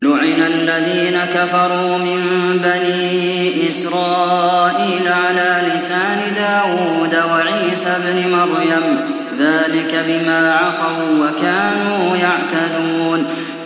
لُعِنَ الَّذِينَ كَفَرُوا مِن بَنِي إِسْرَائِيلَ عَلَىٰ لِسَانِ دَاوُودَ وَعِيسَى ابْنِ مَرْيَمَ ۚ ذَٰلِكَ بِمَا عَصَوا وَّكَانُوا يَعْتَدُونَ